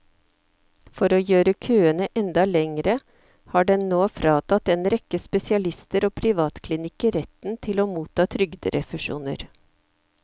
For å gjøre køene enda lengre har den nå fratatt en rekke spesialister og privatklinikker retten til å motta trygderefusjoner.